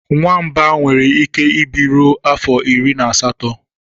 Nwamba nwere ike ịbi ruo afọ iri na asatọ.